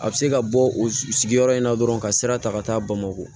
A bɛ se ka bɔ o sigiyɔrɔ in na dɔrɔn ka sira ta ka taa bamakɔ